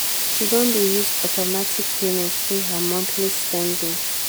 she don dey use automatic payment pay her monthly spending.